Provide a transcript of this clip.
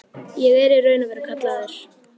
Ég er í raun og veru kallaður.